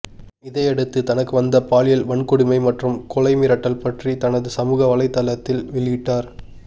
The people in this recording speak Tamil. இதையடுத்து தனக்கு வந்த பாலியல் வன்கொடுமை மற்றும் கொலை மிரட்டல் பற்றி தனது சமூக வலைத்தளத்தில் வெளியிட்டார்